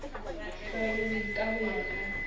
hlwauweng ka ho ya ka